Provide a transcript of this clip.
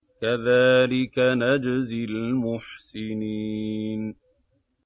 كَذَٰلِكَ نَجْزِي الْمُحْسِنِينَ